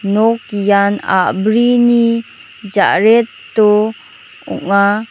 nok ian a·brini jareto ong·a.